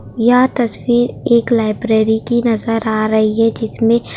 यह तस्वीर एक लाइब्रेरी की नजर आ रही है जिसमें--